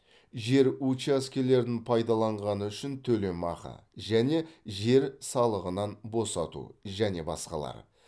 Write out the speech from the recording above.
жер учаскелерін пайдаланғаны үшін төлемақы және жер салығынан босату және басқалар